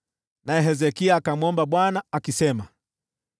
Naye Hezekia akamwomba Bwana akisema: